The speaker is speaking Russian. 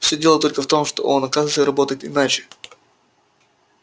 всё дело только в том что он оказывается работает иначе